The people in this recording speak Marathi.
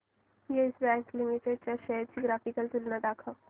येस बँक लिमिटेड च्या शेअर्स ची ग्राफिकल तुलना दाखव